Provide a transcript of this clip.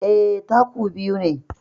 Eh, taku biyu ne